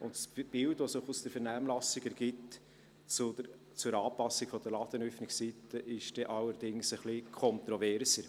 Andererseits ist das Bild, das sich aus der Vernehmlassung zur Anpassung der Ladenöffnungszeiten ergibt, dann allerdings ein wenig kontroverser.